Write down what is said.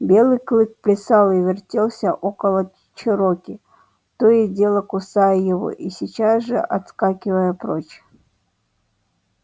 белый клык плясал и вертелся около чероки то и дело кусая его и сейчас же отскакивая прочь